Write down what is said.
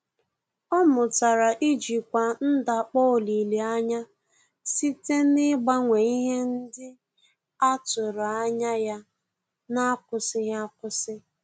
Ọ́ mụ́tàrà íjíkwá ndakpọ olileanya site n’ị́gbànwé ihe ndị a tụ́rụ́ ányá ya n’ákwụ́sị́ghị́ ákwụ́sị́.